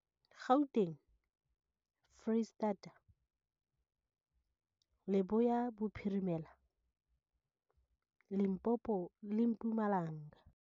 Gauteng, Freistata, Leboya Bophirimela, Limpopo le Mpumalanga.